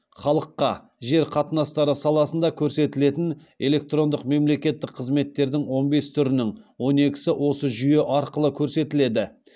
халыққа жер қатынастары саласында көрсетілетін электрондық мемлекеттік қызметтердің он бес түрінің он екісі осы жүйе арқылы көрсетіледі